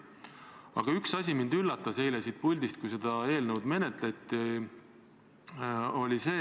Aga üks asi üllatas mind eile, kui seda eelnõu menetleti.